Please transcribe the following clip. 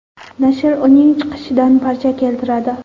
Nashr uning chiqishidan parcha keltiradi.